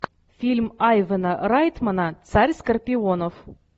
фильм айвана райтмана царь скорпионов